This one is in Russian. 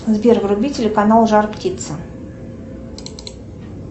сбер вруби телеканал жар птица